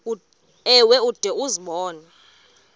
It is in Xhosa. ewe ude uzibone